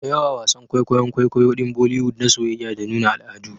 Dayawa wasan kwaikwayon kwaikwayo din boliwood na soyayya da nuna al'adu